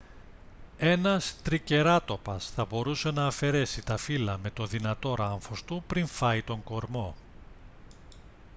ένας τρικεράτοπας θα μπορούσε να αφαιρέσει τα φύλλα με το δυνατό ράμφος του πριν φάει τον κορμό